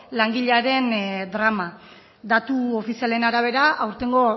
langilearen drama datu ofizialen arabera aurtengo